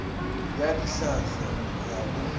ya ditlhahlo go ya go